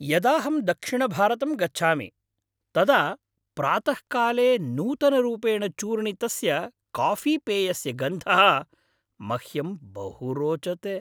यदाहं दक्षिणभारतं गच्छामि तदा प्रातःकाले नूतनरूपेण चूर्णितस्य काफ़ीपेयस्य गन्धः मह्यं बहु रोचते।